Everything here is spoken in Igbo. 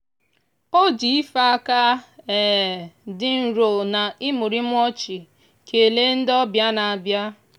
o ji ife aka dị nro na imurimu ọchị kelee ndị obịa na-abịa.